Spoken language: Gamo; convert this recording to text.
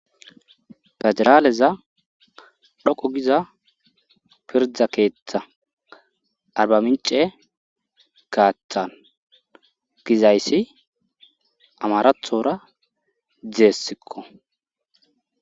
pederaaleza dhoqo giza pirda keeththa arba mince kaathan gizayssi amarathora deessikko